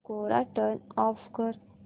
कोरा turn off कर